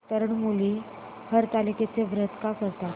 तरुण मुली हरतालिकेचं व्रत का करतात